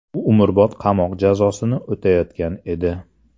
U umrbod qamoq jazosini o‘tayotgan edi.